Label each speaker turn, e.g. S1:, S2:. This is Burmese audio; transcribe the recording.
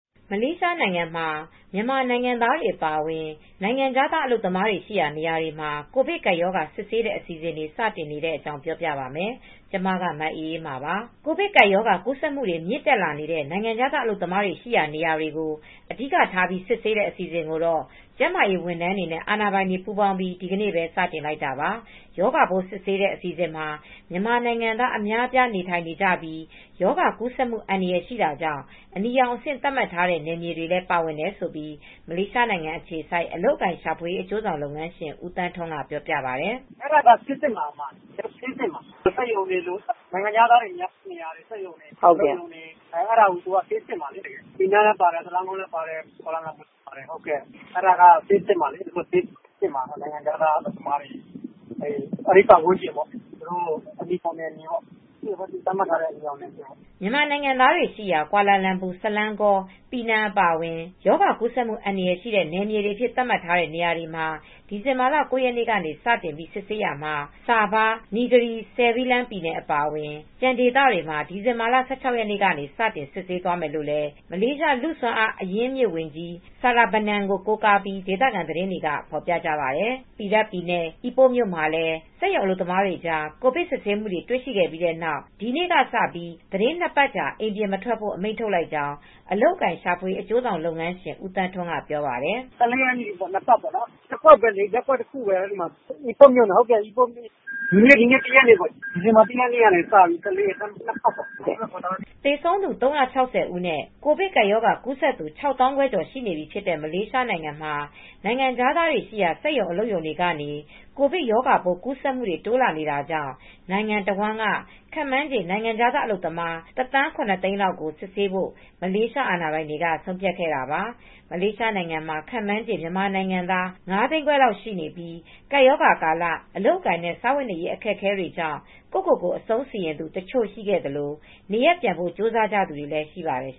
S1: မလေးရှားနိုင်ငံမှာ မြန်မာနိုင်ငံသားတွေ အပါအဝင် နိုင်ငံခြားသား အလုပ်သမားတွေရှိရာ နေရာတွေမှာ ကိုဗစ်ကပ်ရောဂါ စစ်ဆေးတဲ့ အစီအစဉ်တွေ စတင်နေတဲ့အကြောင်းကို ဗွီအိုအေမြန်မာပိုင်း သတင်းထောက် မအေးအေးမာက ပြောပြပေးပါမယ်။ ကိုဗစ်ကပ်ရောဂါ ကူးစက်မှုတွေ မြင့်တက်နေတဲ့ နိုင်ငံခြားသား အလုပ်သမားတွေ ရှိရာနေရာတွေကို အဓိကထားပြီး စစ်ဆေးတဲ့ အစီအစဉ်ကိုတော့ ကျန်းမာရေးဝန်ထမ်းတွေနဲ့ အာဏာပိုင်တွေ ပူးပေါင်းပြီး ဒီကနေ့ပဲ စတင်လိုက်တာပါ။ ရောဂါပိုးစစ်ဆေးတဲ့ အစီအစဉ်မှာ မြန်မာနိုင်ငံသား အများအပြားနေထိုင်နေကြပြီး ရောဂါကူးစက်မှု အန္တရာယ်ရှိတာကြောင့် အနီရောင်အဆင့် သတ်မှတ်ထားတဲ့ နယ်မြေတွေလည်း ပါဝင်တယ်လို့ မလေးရှားနိုင်ငံအခြေစိုက် အလုပ်အကိုင်ရှာဖွေရေး အကျိုးဆောင်လုပ်ငန်းရှင် ဦးသန်းထွန်းကပြောပါတယ်။
S2: “အဲဒါကတော့ ဆေးစစ်မှာဗျ။ စက်ရုံတွေ၊ နိုင်ငံခြားသား အလုပ်သမားတွေ များတဲ့နေရာတွေ၊ စက်ရုံ အလုပ်ရုံတွေကို ဆေးစစ်မှာ ပီနန်းလည်း ပါတယ်၊ ကွာလာလမ်ပူလည်း ပါတယ်၊ ဆလန်ဂေါလည်း ပါတယ်။ အဲဒီ ပတ်ဝန်းကျင်ပေ့ါ၊ အနီရောင်ဇုန်နယ်မြေပေါ့၊ သတ်မှတ်ထားတဲ့ အနီရောင်နယ်မြေပေါ့
S1: ။” မြန်မာနိုင်ငံသားတွေ ရှိရာ ကွာလာလမ်ပူ၊ ဆလန်းဂေါ၊ ပီနန် အပါအဝင် ရောဂါကူးစက်မှု အန္တရာယ်ရှိတဲ့ နယ်မြေတွေအဖြစ် သတ်မှတ်ထားတဲ့ နေရာတွေမှာ ဒီဇင်ဘာလ ၉ ရက်နေ့က စ စစ်ဆေးမှာဖြစ်ပြီး ဆာဘား၊ နီဂရီ ဆဲယ်ဘီလန်း ပြည်နယ် အပါအဝင် ကျန်ဒေသတွေမှာ ဒီဇင်ဘာ ၁၆ ရက်နေ့က စ စစ်ဆေးပေးသွားမယ်လို့လည်း မလေးရှား လူ့စွမ်းအားအရင်းအမြစ် ဝန်ကြီး Saravanan Murugan ကို ကိုးကားပြီး ဒေသခံသတင်းတွေက ဖော်ပြကြပါတယ်။ Perak ပြည်နယ် Ipoh မြို့မှာလည်း စက်ရုံအလုပ်သမားတွေကြား ကိုဗစ်ကူးစက်မှုတွေတွေ့ရှိခဲ့ပြီးနောက် ဒီကနေ့ကစပြီး သီတင်း ၂ ပတ်ကြာ အိမ်ပြင်မထွက်ဖို့ အမိန့်ထုတ်လိုက်ကြောင်း အလုပ်အကိုင်ရှာဖွေရေး အကျိုးဆောင်လုပ်ငန်းရှင် ဦးသန်းထွန်းကပြောပါတယ်။ "၁
S2: ၄ ရက်ပေါ့။ ၂ ပတ်ပေါ့၊ ရပ်ကွက်တခုပဲ အိပို့ပြည်နယ် ဒီနေ့ ဒီဇင်ဘာလ ၁ ရက်နေ့ကနေ ၁၄ ရက်နေ့ ထိ ၂ ပတ်ပေါ့... Lock down လ
S1: ုပ်မှာ။" သေဆုံးသူ ၃၆၀ ဦးနဲ့ ကိုဗစ်ကပ်ရောဂါကူးစက်သူ ၆၅,၀၀၀ ကျော်ရှိနေပြီ ဖြစ်တဲ့ မလေးရှားနိုင်ငံမှာ နိုင်ငံခြားသားတွေ ရှိရာ စက်ရုံ၊ အလုပ်ရုံတွေကနေ ကိုဗစ်ရောဂါပိုးကူးစက်မှုတွေ တိုးလာနေတာကြောင့် နိုင်ငံအဝန်းက ခန့်မှန်းခြေ နိုင်ငံခြားသား အလုပ်သမား ၁၇၀,၀၀၀ လောက်ကို စစ်ဆေးဖို့ မလေးရှား အာဏာပိုင်တွေ ဆုံးဖြတ်ခဲ့တာပါ။ မလေးရှားနိုင်ငံမှာ ခန့်မှန်းခြေ မြန်မာနိုင်ငံသား အလုပ်သမား ၅၅၀,၀၀၀ လောက် ရှိနေပြီး ကပ်ရောဂါကာလ အလုပ်အကိုင်နဲ့ စားဝတ်နေရေး အခက်အခဲကြောင့် ကိုယ့်ကိုယ်ကို အဆုံးစီရင်သူ တချို့ရှိခဲ့သလို နေရပ်ပြန်ဖို့ ကြိုးစားသူတွေလည်း ရှိပါတယ်